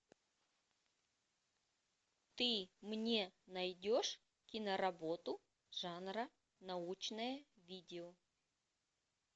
ты мне найдешь киноработу жанра научное видео